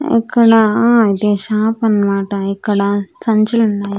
ఇక్కడా ఇది షాప్ అనమాటా ఇక్కడ సంచిలున్నాయ్.